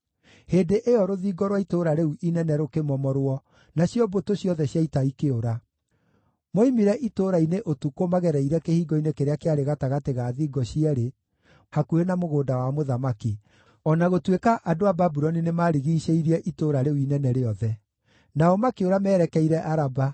Hĩndĩ ĩyo rũthingo rwa itũũra rĩu inene rũkĩmomorwo, nacio mbũtũ ciothe cia ita ikĩũra. Moimire itũũra-inĩ ũtukũ magereire kĩhingo-inĩ kĩrĩa kĩarĩ gatagatĩ ga thingo cierĩ hakuhĩ na mũgũnda wa mũthamaki, o na gũtuĩka andũ a Babuloni nĩmarigiicĩirie itũũra rĩu inene rĩothe. Nao makĩũra merekeire Araba,